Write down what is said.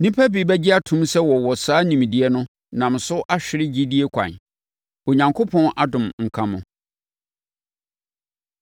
Nnipa bi gye tom sɛ wɔwɔ saa nimdeɛ no nam so ahwere gyidie kwan no. Onyankopɔn adom nka mo.